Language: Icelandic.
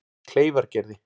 Kleifargerði